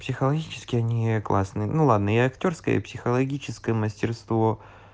психологические они классные ну ладно и актёрское и психологическое мастерство